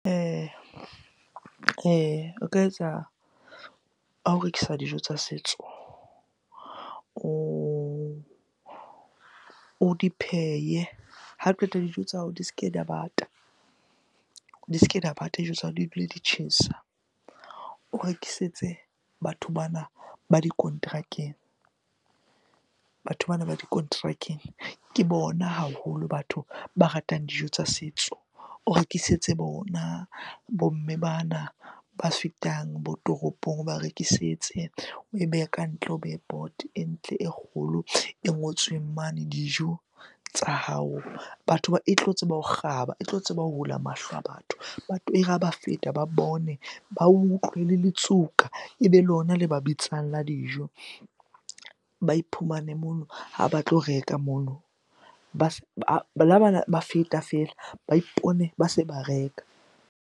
O ka etsa, ha o rekisa dijo tsa setso o di pheye, ha qeta dijo tsa hao di ske di a bata, di ske di a bata dijo tsa hao di dule di tjhesa. O rekisetse batho ba ba dikonterakeng, batho bana ba dikonterakeng ke bona haholo batho ba ratang dijo tsa setso. O rekisetse bona bo mme bana ba fetang bo toropong, o ba rekisetse. Oe behe kantle, o beye poto e ntle e kgolo e ngotsweng mane dijo tsa hao. E tlo tseba ho kgaba, e tlo tseba ho hula mahlo a batho. Batho e re ha ba feta ba bone, ba utlwe le letsuka, ebe lona le ba bitsang la dijo. Ba iphumane mono ha ba tlo reka mono, ba ba feta feela ba ipone ba se ba reka.